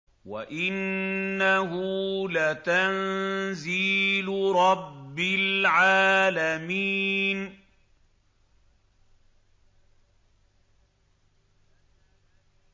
وَإِنَّهُ لَتَنزِيلُ رَبِّ الْعَالَمِينَ